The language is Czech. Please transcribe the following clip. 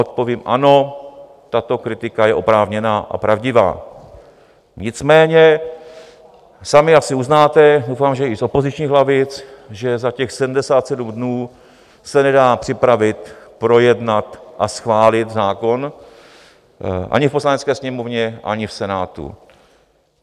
Odpovím ano, tato kritika je oprávněná a pravdivá, nicméně sami asi uznáte, doufám, že i z opozičních lavic, že za těch 77 dnů se nedá připravit, projednat a schválit zákon ani v Poslanecké sněmovně, ani v Senátu.